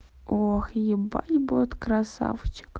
ох ебать будет красавчик